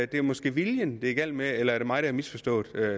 det er måske viljen det er galt med eller er det mig der har misforstået